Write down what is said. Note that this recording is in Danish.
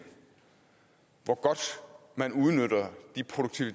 hvor godt man udnytter de